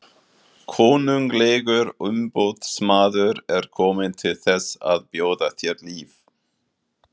Konunglegur umboðsmaður er kominn til þess að bjóða þér líf.